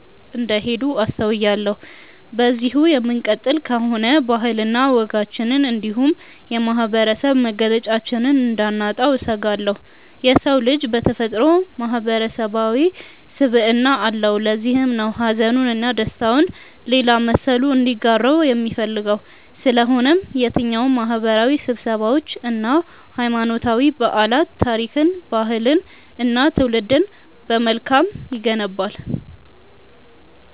እንደሄዱ አስተውያለሁ። በዚሁ የምንቀጥል ከሆነ ባህልና ወጋችንን እንዲሁም የማህበረሰብ መገለጫችንን እንዳናጣው እሰጋለሁ። የሰው ልጅ በተፈጥሮው ማህበረሰባዊ ስብዕና አለው። ለዚህም ነው ሀዘኑን እና ደስታውን ሌላ መሰሉ እንዲጋራው የሚፈልገው። ስለሆነም የትኛውም ማህበረሰባዊ ስብሰባዎች እና ሀይማኖታዊ በዓላት ታሪክን፣ ባህልንን እና ትውልድን በመልካም ይገነባል።